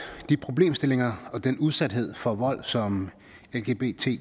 de problemstillinger og den udsathed for vold som lgbtqi